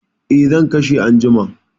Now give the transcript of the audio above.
Eh, zan kashe anjima.